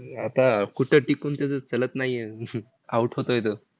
का कुठे टिकून त्याचं चलत नाही आहे. out होतोय तो.